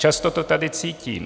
Často to tady cítím.